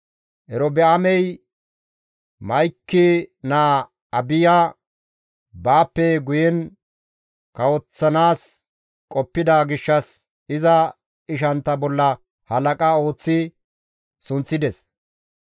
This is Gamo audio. Erobi7aamey Ma7iki naa Abiya baappe guyen kawoththanaas qoppida gishshas, iza ishantta bolla halaqa ooththi sunththides.